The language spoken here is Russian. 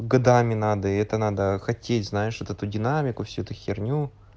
годами надо и это надо хотеть знаешь вот эту динамику всю эту херню